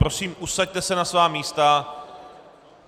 Prosím, usaďte se na svá místa.